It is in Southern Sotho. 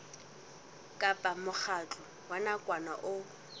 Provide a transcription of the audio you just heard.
kapa mokgatlo wa nakwana o